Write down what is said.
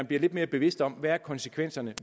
bliver lidt mere bevidste om hvad konsekvenserne